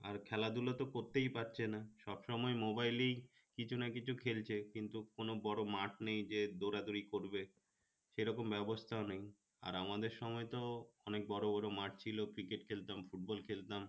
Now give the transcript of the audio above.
আর খেলাধুলা তো করতেই পারছে না সবসময় mobile এই কিছু-না-কিছু খেলছে কিন্তু কোনো বড় মাঠ নেই যে দৌড়াদৌড়ি করবে সেরকম ব্যবস্থা নেই আর আমাদের সময় তো অনেক বড় বড় মাঠ ছিল cricket খেলতাম football খেলতাম